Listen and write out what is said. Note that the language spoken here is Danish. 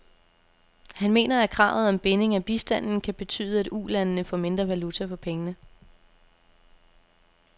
Han mener, at kravet om binding af bistanden kan betyde, at ulandene får mindre valuta for pengene.